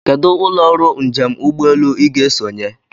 Kedụ ụlọ ọrụ njem ụgbọelu Ị ga-esonye?